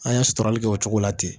An ye sɔrɔli kɛ o cogo la ten